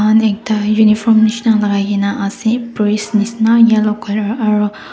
manu ekta uniform nishe na lagaikena ase priest nishe na yellow colour aru.